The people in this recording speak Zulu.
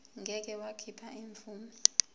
ngeke wakhipha imvume